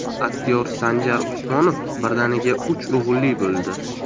Aktyor Sanjar Usmonov birdaniga uch o‘g‘illi bo‘ldi.